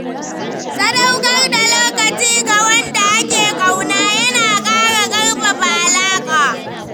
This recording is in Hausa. Sadaukar da lokaci ga wanda ake ƙauna yana ƙara ƙarfafa alaƙa.